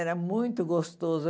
Era muito gostoso.